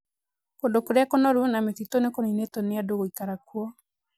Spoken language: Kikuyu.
kũndu Kuria kũnoru na mĩtĩtu nĩ kuniinitwo nĩ andu gũikara kuo.